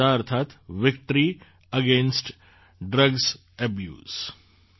વાદા અર્થાત્ victory against drugs abuse